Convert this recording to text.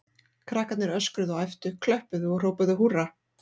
Krakkarnir öskruðu og æptu, klöppuðu og hrópuðu húrra.